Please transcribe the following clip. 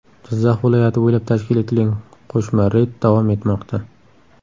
Jizzax viloyati bo‘ylab tashkil etilgan qo‘shma reyd davom etmoqda.